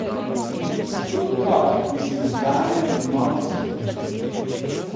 Si kot otrok, ki si vzgajan v novo skupnost.